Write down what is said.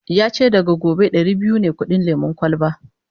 yace daga gobe Dari biyu ne kudin lemun kwalba